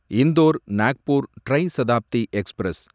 இந்தோர் நாக்பூர் ட்ரை சதாப்தி எக்ஸ்பிரஸ்